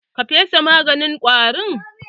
Ka fesa maganin ƙwarin?